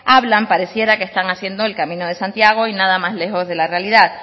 hablan pareciera que están haciendo el camino de santiago y nada más lejos de la realidad